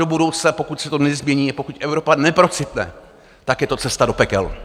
Do budoucna, pokud se to nezmění, pokud Evropa neprocitne, tak je to cesta do pekel.